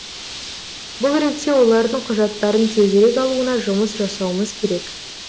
бұл ретте олардың құжаттарын тезірек алуына жұмыс жасауымыз керек